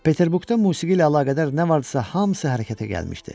Peterburqda musiqi ilə əlaqədar nə vardısa, hamısı hərəkətə gəlmişdi.